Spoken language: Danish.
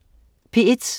P1: